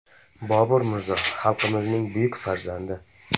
Bobur Mirzo xalqimizning buyuk farzandi.